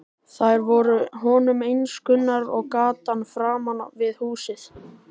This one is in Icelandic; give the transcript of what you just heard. Þær voru honum eins kunnar og gatan framan við húsið.